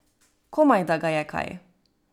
Komaj, da ga je kaj.